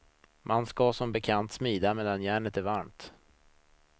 Man ska som bekant smida medan järnet är varmt.